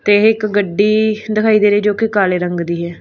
ਤੇ ਇੱਕ ਗੱਡੀ ਦਿਖਾਈ ਦੇ ਰਹੀ ਜੋ ਕਿ ਕਾਲੇ ਰੰਗ ਦੀ ਹੈ।